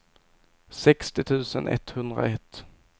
sextio tusen etthundraett